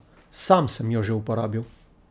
Sam sem jo že uporabil.